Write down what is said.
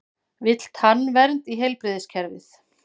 Vill tannvernd í heilbrigðiskerfið